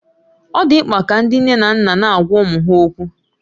Ọ dị mkpa ka ndị nne na nna na-agwa ụmụ ha okwu